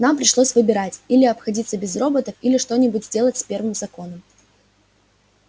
нам пришлось выбирать или обходиться без роботов или что-нибудь сделать с первым законом